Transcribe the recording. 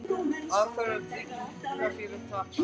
Alþjóðleg tryggingafélög tapa